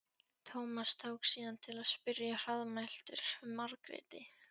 Tómas tók síðan til við að spyrja hraðmæltur um Margréti.